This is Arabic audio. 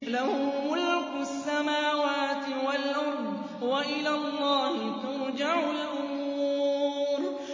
لَّهُ مُلْكُ السَّمَاوَاتِ وَالْأَرْضِ ۚ وَإِلَى اللَّهِ تُرْجَعُ الْأُمُورُ